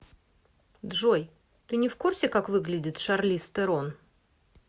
джой ты не в курсе как выглядит шарлиз терон